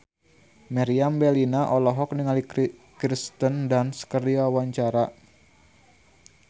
Meriam Bellina olohok ningali Kirsten Dunst keur diwawancara